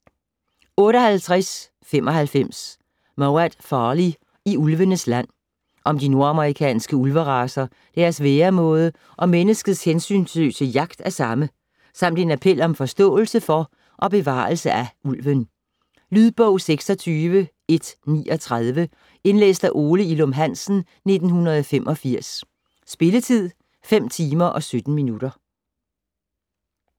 58.95 Mowat, Farley: I ulvenes land Om de nordamerikanske ulveracer, deres væremåde og menneskets hensynsløse jagt af samme, samt en appel om forståelse for og bevarelse af ulven. Lydbog 26139 Indlæst af Ole Ilum Hansen, 1985. Spilletid: 5 timer, 17 minutter.